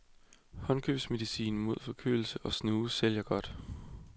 Håndkøbsmedicin mod forkølelse og snue sælger godt.